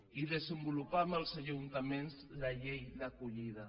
i desenvolupar amb els ajuntaments la llei d’acollida